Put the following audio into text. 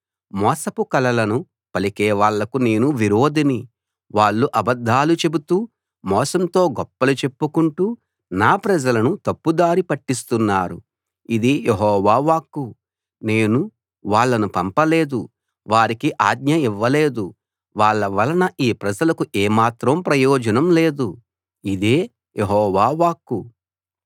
మోసపు కలలను పలికే వాళ్లకు నేను విరోధిని వాళ్ళు అబద్ధాలు చెబుతూ మోసంతో గొప్పలు చెప్పుకుంటూ నా ప్రజలను తప్పుదారి పట్టిస్తున్నారు ఇది యెహోవా వాక్కు నేను వాళ్ళను పంపలేదు వారికి ఆజ్ఞ ఇవ్వలేదు వాళ్ళ వలన ఈ ప్రజలకు ఏమాత్రం ప్రయోజనం లేదు ఇదే యెహోవా వాక్కు